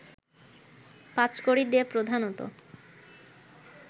পাঁচকড়ি দে প্রধানত